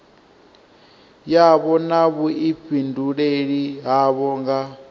yavho na vhuifhinduleli havho nga